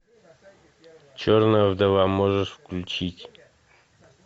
черная вдова можешь включить